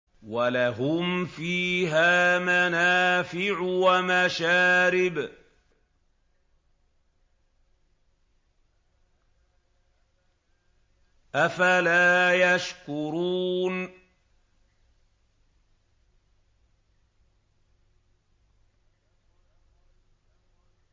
وَلَهُمْ فِيهَا مَنَافِعُ وَمَشَارِبُ ۖ أَفَلَا يَشْكُرُونَ